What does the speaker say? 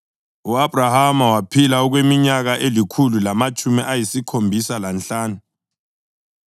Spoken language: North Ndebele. U-Abhrahama waphila okweminyaka elikhulu lamatshumi ayisikhombisa lanhlanu.